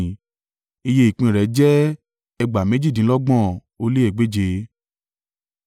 Iye ìpín rẹ̀ jẹ́ ẹgbàá méjìdínlọ́gbọ̀n ó lé egbèje (57,400).